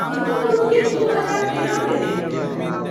हिनका दुनूकेँ दू हजार तेरहमे देल गेल रहनि।